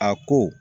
A ko